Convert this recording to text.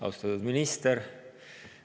Austatud minister!